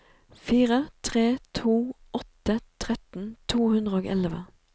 fire tre to åtte tretten to hundre og elleve